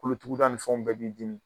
Kolotuguda nin fɛnw bɛɛ b'i dimi